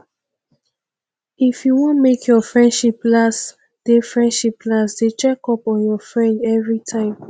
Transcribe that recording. if you wan make your friendship last dey friendship last dey check up on your friend everytime